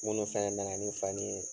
Minnu fana nana ni fani ye.